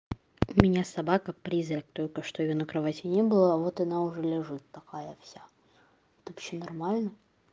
у меня собака призрак только что её на кровати не было вот она уже лежит такая вся да всё нормально